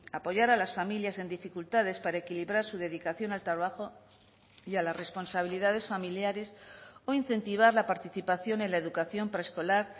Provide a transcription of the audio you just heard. apoyar a las familias en dificultades para equilibrar su dedicación al trabajo y a las responsabilidades familiares o incentivar la participación en la educación preescolar